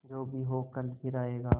जो भी हो कल फिर आएगा